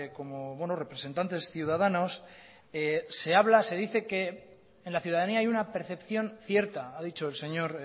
como buenos representantes ciudadanos se habla se dice que en la ciudadanía hay una percepción cierta ha dicho el señor